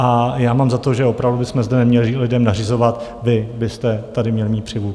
A já mám za to, že opravdu bychom zde neměli lidem nařizovat: vy byste tady měli mít přilbu.